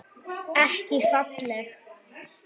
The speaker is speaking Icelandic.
Ekki falleg.